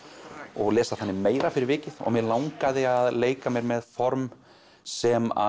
og lesa þannig meira fyrir vikið og mig langaði að leika mér með form sem